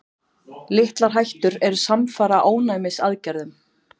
Litlar hættur eru samfara ónæmisaðgerðum.